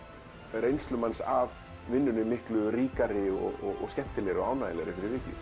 reynsluna af vinnunni miklu ríkari og skemmtilegri og ánægjulegri